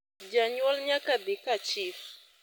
janyuol nyaka dhi ka chif